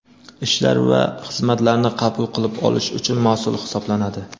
ishlar va xizmatlarni qabul qilib olish uchun mas’ul hisoblanadi.